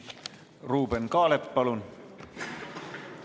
Ruuben Kaalep, palun!